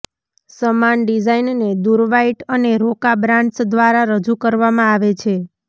સમાન ડિઝાઇનને દુર્વાઇટ અને રોકા બ્રાન્ડ્સ દ્વારા રજૂ કરવામાં આવે છે